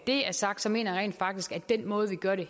det er sagt mener jeg rent faktisk at den måde vi gør det